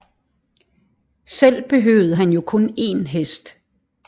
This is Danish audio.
Selv behøvede han jo kun én hest